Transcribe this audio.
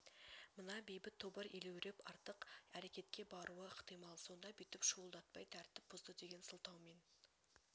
мына бейбіт тобыр елеуреп артық әрекетке баруы ықтимал сонда бүйтіп шуылдатпай тәрткп бұзды деген сылтаумен